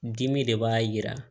Dimi de b'a jira